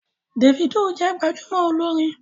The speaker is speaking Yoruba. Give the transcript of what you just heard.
Davido jẹ gbajúmò olórin